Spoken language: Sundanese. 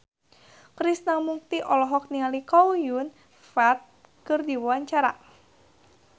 Krishna Mukti olohok ningali Chow Yun Fat keur diwawancara